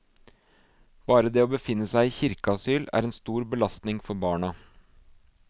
Bare det å befinne seg i kirkeasyl er en stor belastning for barna.